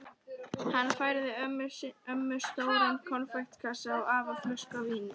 Hann færði ömmu stóran konfektkassa og afa flösku af víni.